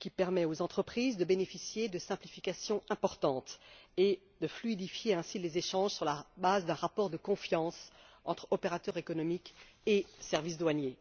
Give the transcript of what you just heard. qui permet aux entreprises de bénéficier de simplifications importantes et de fluidifier ainsi les échanges sur la base d'un rapport de confiance entre opérateurs économiques et services douaniers.